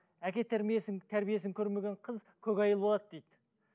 әке тәрбиесін көрмеген қыз көкайыл болады дейді